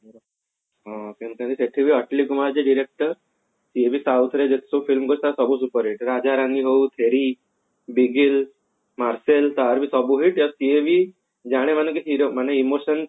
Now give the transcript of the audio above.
ହଁ ସେଠି ବି କୁମାର ହଉଛି director ସିଏ ବି south ର ଯେତେ ସବୁ film କରିଛି ତାର ସବୁ superhit ରାଜରାଣୀ ହଉ ଚେରୀ ତାର ବୁ ସବୁ hit ଆଉ ସିଏ ବି ଜାଣେ ମାନେକି emotion